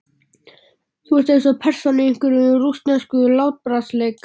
Þú ert eins og persóna í einhverjum. rússneskum látbragðsleik.